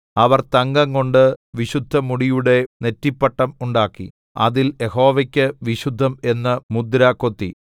അവർ തങ്കംകൊണ്ട് വിശുദ്ധമുടിയുടെ നെറ്റിപ്പട്ടം ഉണ്ടാക്കി അതിൽ യഹോവയ്ക്ക് വിശുദ്ധം എന്ന് മുദ്ര കൊത്തി